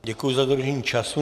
Děkuji za dodržení času.